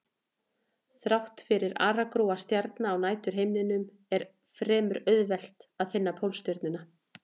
Þrátt fyrir aragrúa stjarna á næturhimninum er fremur auðvelt að finna Pólstjörnuna.